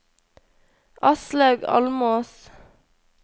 Aslaug Almås